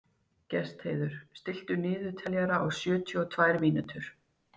Gestheiður, stilltu niðurteljara á sjötíu og tvær mínútur.